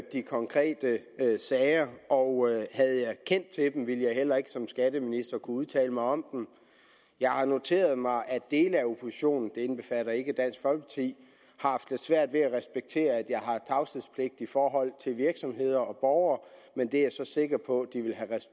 de konkrete sager og havde jeg kendt til dem ville jeg heller ikke som skatteminister kunne udtale mig om dem jeg har noteret mig at dele af oppositionen det indbefatter ikke dansk folkeparti har haft lidt svært ved at respektere at jeg har tavshedspligt i forhold til virksomheder og borgere men det er jeg så sikker på